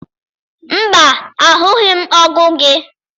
Mba, ahụghị m ọgụ gị.